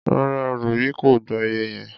Rárá, òro yìí kò gba iye yẹn.